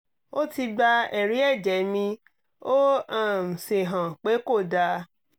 ó ti gba ẹ̀rí ẹ̀jẹ̀ mi ó um sì hàn pé kò dáa